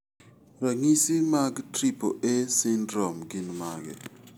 Ranyi mag Triple A syndrome gin mage?